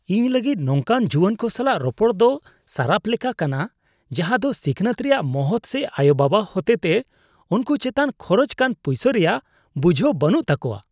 ᱤᱧ ᱞᱟᱹᱜᱤᱫ ᱱᱚᱝᱠᱟᱱ ᱡᱩᱣᱟᱹᱱ ᱠᱚ ᱥᱟᱞᱟᱜ ᱨᱚᱯᱚᱲ ᱫᱚ ᱥᱟᱨᱟᱯ ᱠᱟᱱᱟ ᱡᱟᱦᱟᱸᱭ ᱫᱚ ᱥᱤᱠᱷᱱᱟᱹᱛ ᱨᱮᱭᱟᱜ ᱢᱚᱦᱚᱛ ᱥᱮ ᱟᱭᱳᱼᱵᱟᱵᱟ ᱦᱚᱛᱮᱛᱮ ᱩᱱᱠᱩ ᱪᱮᱛᱟᱱ ᱠᱷᱚᱨᱚᱪᱚᱜ ᱠᱟᱱ ᱯᱩᱭᱥᱟᱹ ᱨᱮᱭᱟᱜ ᱵᱩᱡᱷᱟᱹᱣ ᱵᱟᱹᱱᱩᱜ ᱛᱟᱠᱚᱣᱟ ᱾